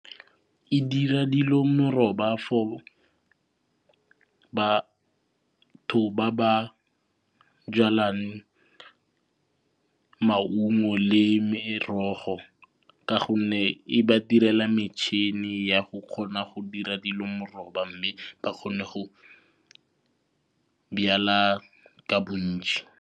E dira dilo moroba for batho ba ba jalang maungo le merogo ka gonne e ba direla metšhini ya go kgona go dira dilo moroba mme ba kgone go ka bontšhi.